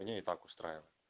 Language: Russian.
меня и так устраивает